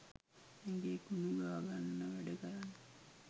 ඇඟේ කුණු ගාගන්න වැඩ කරන්න